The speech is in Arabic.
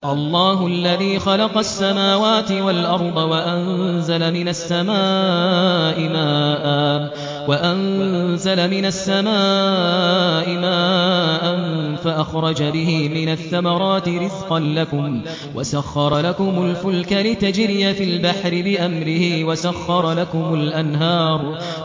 اللَّهُ الَّذِي خَلَقَ السَّمَاوَاتِ وَالْأَرْضَ وَأَنزَلَ مِنَ السَّمَاءِ مَاءً فَأَخْرَجَ بِهِ مِنَ الثَّمَرَاتِ رِزْقًا لَّكُمْ ۖ وَسَخَّرَ لَكُمُ الْفُلْكَ لِتَجْرِيَ فِي الْبَحْرِ بِأَمْرِهِ ۖ وَسَخَّرَ لَكُمُ الْأَنْهَارَ